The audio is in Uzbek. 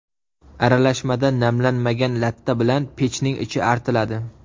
Aralashmada namlanmagan latta bilan pechning ichi artiladi.